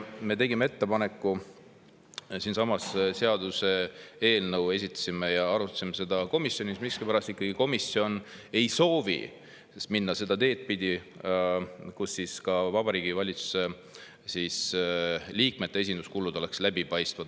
Me tegime ettepaneku, esitasime siinsamas seaduse eelnõu ja arutasime seda komisjonis, aga miskipärast ikkagi komisjon ei soovi minna seda teed pidi, et ka Vabariigi Valitsuse liikmete esinduskulud oleksid läbipaistvad.